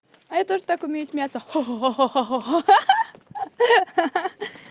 а я тоже так умею смеяться ха-ха